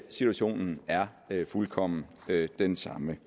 situationen er fuldkommen den samme